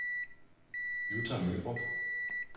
Jutta Mørup